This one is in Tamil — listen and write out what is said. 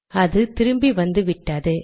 அது திரும்பி வந்துவிட்டது